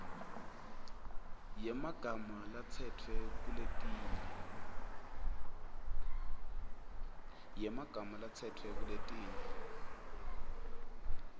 yemagama latsetfwe kuletinye